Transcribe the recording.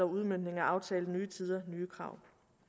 udmøntning af aftalen nyt tider nye krav